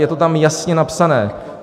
Je to tam jasně napsáno.